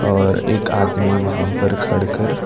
और एक आदमी वहां पर खड़ कर--